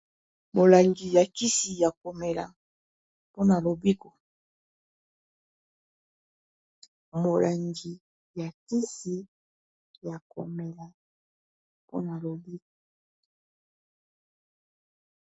Molangi ya kisi ya komela pona lobiko.